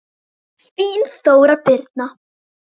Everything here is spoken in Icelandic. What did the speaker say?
Þín Þóra Birna.